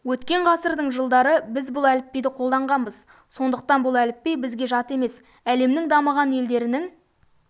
өткен ғасырдың жылдары біз бұл әліпбиді қолданғанбыз сондықтан бұл әліпби бізге жат емес әлемнің дамыған елдерінің